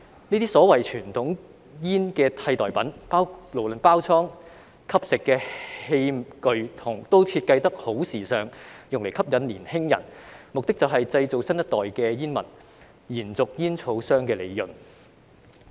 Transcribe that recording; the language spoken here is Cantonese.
這些所謂傳統煙的替代品，無論是包裝或吸食的器具也設計得十分時尚，用以吸引年輕人，目的就是製造新一代的煙民，延續煙草商的利潤。